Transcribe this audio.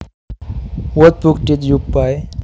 What book did you buy